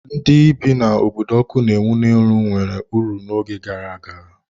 Ndị bi n'obodo ọkụ na-enwu n'elu nwere uru n'oge gara aga.